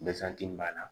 Gazankibana